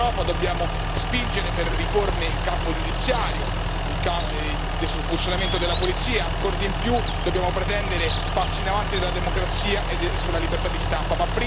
Come Europa dobbiamo spingere per riforme in campo giudiziario, sul funzionamento della polizia, e ancor di più dobbiamo pretendere passi in avanti sulla democrazia e sulla libertà di stampa.